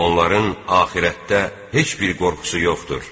Onların axirətdə heç bir qorxusu yoxdur.